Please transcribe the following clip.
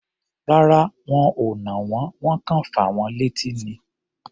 Rárá, wọn ò nà wọ́n. Wọ́n kọ̀ fà wọ́n létí ni.